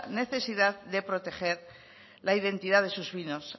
necesidad de proteger la identidad de sus vinos